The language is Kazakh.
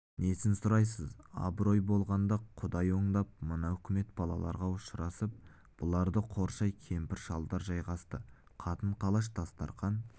несін сұрайсыз абырой болғанда құдай оңдап мына үкімет балаларға ұшырасып бұларды қоршай кемпір-шалдар жайғасты қатын-қалаш дастарқан